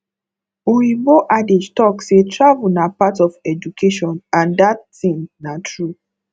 oyibo adage talk say travel na part of education and that thing na true